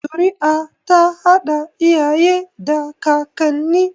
Zuri'a ta haɗa iyaye da kakanni